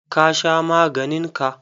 Ka sha maganin ka?